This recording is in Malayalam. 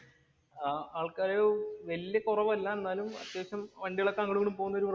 ആഹ് ആള്‍ക്കാര് വലിയ കൊറവല്ല. എന്നാലും അത്യാവശ്യം വണ്ടികള്‍ ഒക്കെ അങ്ങോട്ടും ഇങ്ങോട്ടും പോകുന്ന ഒരു